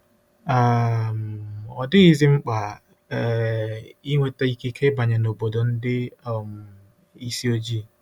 um Ọ dịghịzi mkpa um ịnweta ikike ịbanye n'obodo ndị um isi ojii.